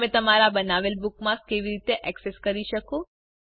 તમે તમારા બનાવેલ બુકમાર્ક્સ કેવી રીતે એક્સેસ કરી શકો